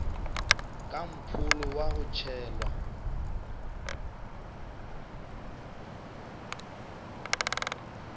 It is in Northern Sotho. ka mpholo wa go tšhelwa